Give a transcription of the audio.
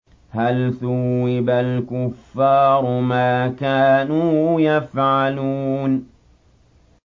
هَلْ ثُوِّبَ الْكُفَّارُ مَا كَانُوا يَفْعَلُونَ